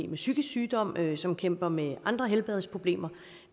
med psykisk sygdom eller som kæmper med andre helbredsproblemer